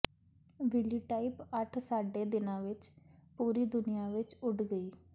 ਵਿਲੀਟਾਈਪ ਅੱਠ ਸਾਢੇ ਦਿਨਾਂ ਵਿਚ ਪੂਰੀ ਦੁਨੀਆ ਵਿੱਚ ਉੱਡ ਗਈ